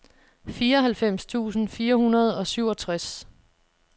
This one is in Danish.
fireoghalvfems tusind fire hundrede og syvogtres